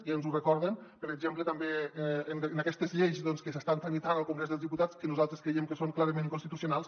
i ens ho recorden per exemple també en aquestes lleis que s’estan tramitant al congrés dels diputats que nosaltres creiem que són clarament inconstitucionals